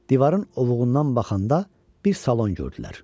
Divarın ovuundan baxanda bir salon gördülər.